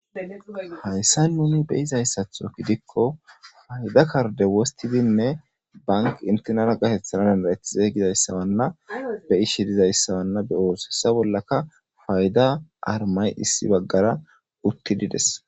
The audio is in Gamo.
Hayssa nuni be izayssatho gidikko fayda karde wostidinne bank intenara gatethana dandarethize gizayssabanna be ishi dizayssabanna beooso hessa bollaka fayda armay issi baggara uttidides.